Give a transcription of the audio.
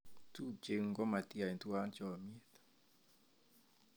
Tupcheng'ung' komatiyai tuwan chomiet